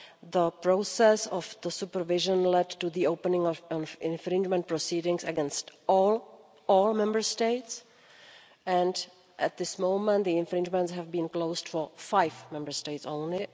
The process of supervision led to the opening of infringement proceedings against all all Member States, and at this moment the proceedings have been closed for five Member States only.